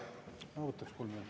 Ma võtaks kolm minutit.